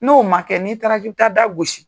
N'o ma kɛ n'i taara k'i bi taa da gosi